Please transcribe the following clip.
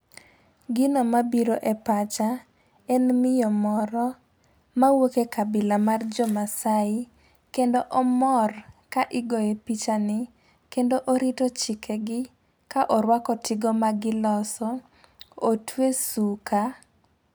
Gino mabiro e pacha, en miyo moro mawuok e kabila mar jomaasai ,kendo omor ka igoye pichani, kendo orito chikegi ka orwako tigo magiloso, otwe suka.